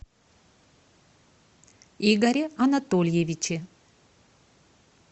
игоре анатольевиче